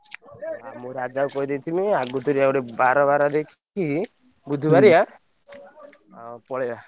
ଆଉ ମୁଁ ରାଜାକୁ କହିଦେଇଥିମି ଆଗତରିଆ ଗୋଟେ ବାର ବାର ଦେ~ ଖିକି~ ବୁଧୁ ବାରିଆ ଆଉ ପଳେଇବା।